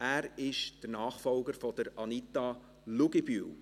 er ist der Nachfolger von Anita Luginbühl.